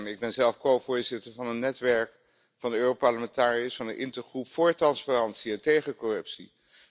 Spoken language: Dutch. Ik ben zelf covoorzitter van een netwerk van de Europarlementariërs van de Intergroep voor transparantie en tegen corruptie.